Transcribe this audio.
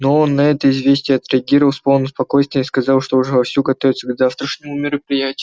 но он на это известие отреагировал с полным спокойствием и сказал что уже вовсю готовится к завтрашнему мероприятию